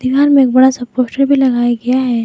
यहाँ मे एक बड़ा सा पोस्टर भी लगाया गया है।